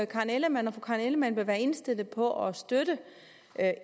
karen ellemann om fru karen ellemann vil være indstillet på at støtte